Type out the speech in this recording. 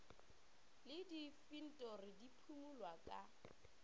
le diinfentori di phimolwa ka